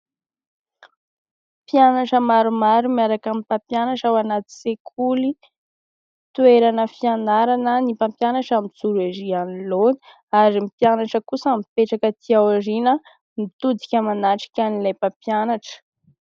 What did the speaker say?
Mpianatra maromaro miaraka amin'ny mpampianatra ao anaty sekoly, toerana fianarana. Ny mpampianatra mijoro ery anoloana ; ary ny mpianatra kosa mipetraka aty aorina mitodika manatrikan'ilay mpampianatra.